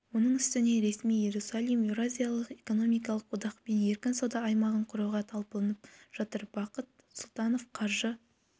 оның үстіне ресми иерусалим еуразиялық экономикалық одақпен еркін сауда аймағын құруға талпынып жатыр бақыт сұлтанов қаржы